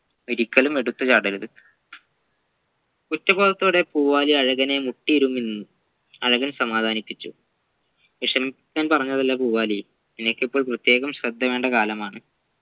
ഒരിക്കലും എടുത്ത് ചാടരുത് കുറ്റബോധത്തോടെ പൂവാലി അഴകനെ മുട്ടിയിരുന്നു നിന്നു അഴകൻ സമദനിപ്പിച്ചു വിഷമിപ്പിക്കാൻ പറഞ്ഞതല്ല പൂവാലി നിനക്കിപ്പോൾ പ്രത്യേകം ശ്രദ്ധവേണ്ട കാലമാണ്